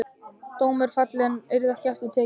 Dómur fallinn, yrði ekki aftur tekinn.